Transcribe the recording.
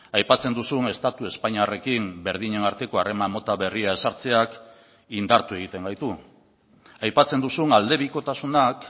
aipatzen duzun estatu espainiarrekin berdinen arteko harreman mota berria ezartzeak indartu egiten gaitu aipatzen duzun aldebikotasunak